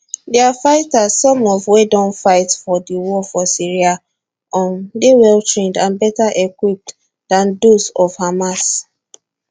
dia fighters some of wey don fight for di war for syria um dey well trained and better equipped dan those of hamas